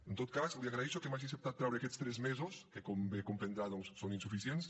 en tot cas li agraeixo que m’hagi acceptat treure aquests tres mesos que com bé comprendrà docs són insuficients